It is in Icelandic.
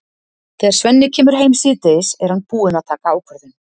Þegar Svenni kemur heim síðdegis er hann búinn að taka ákvörðun.